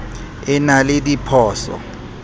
e na le dipho so